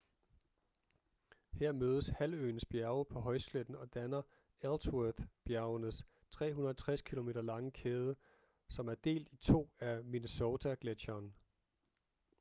her mødes halvøens bjerge på højsletten og danner ellsworth-bjergenes 360 km lange kæde som er delt i to af minnesota-gletscheren